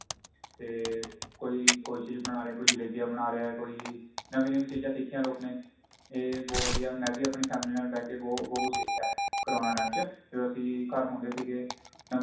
ਤੇ ਕੋਈ ਕੋਈ ਚੀਜ ਬਣਾ ਰਿਹਾ ਕੋਈ ਜਲੇਬੀਆਂ ਬਣਾ ਰਿਹਾ ਕੋਈ ਨਵੀ ਨਵੀ ਚੀਜ਼ਾਂ ਸਿਖਿਆ ਲੋਕਾ ਨੇ ਇਹ ਬਹੁਤ ਵਧੀਆ ਮੈਂ ਵੀ ਆਪਣੀ family ਨਾਲ ਬੈ ਕੇ ਬਹੁਤ ਕੁੱਝ ਸਿਖਿਆ ਕਰੋਨਾ time ਚ ਜਦੋ ਅਸੀਂ ਘਰ ਹੁੰਦੇ ਸੀਗੇ ਨਵੇ